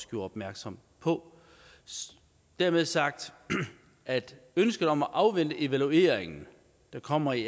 gjorde opmærksom på dermed sagt at ønsket om at afvente evalueringen der kommer i